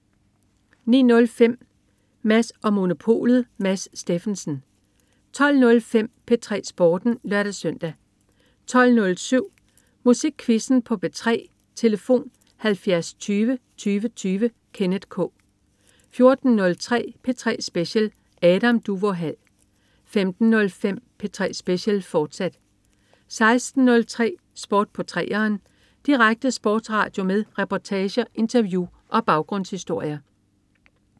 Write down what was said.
09.05 Mads & Monopolet. Mads Steffensen 12.05 P3 Sporten (lør-søn) 12.07 Musikquizzen på P3. Tlf.: 70 20 20 20. Kenneth K 14.03 P3 Special. Adam Duvå Hall 15.05 P3 Special, fortsat 16.03 Sport på 3'eren. Direkte sportsradio med reportager, interview og baggrundshistorier